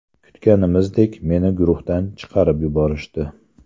Kutganimizdek, meni guruhdan chiqarib yuborishdi.